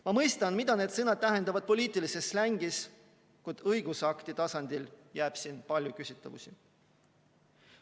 Ma mõistan, mida need sõnad tähendavad poliitilises slängis, kuid õigusakti tasandil jääb siin palju küsitavusi.